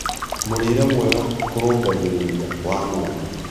Mũrĩre mwega kũrũngagĩrĩrĩa wa mwana